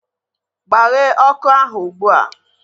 Gbaghee ọkụ ahu ụgbụa!